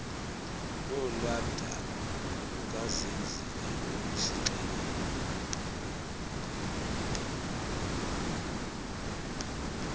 lolwadaba lukazenzile ubusixelela